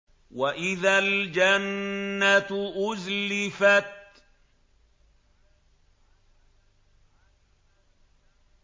وَإِذَا الْجَنَّةُ أُزْلِفَتْ